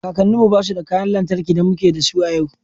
Kakanninmu ba su da kayan lantarki da muke da su a yau